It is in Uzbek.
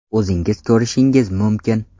O‘zingiz ko‘rishingiz mumkin.